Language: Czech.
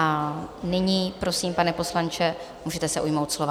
A nyní prosím, pane poslanče, můžete se ujmout slova.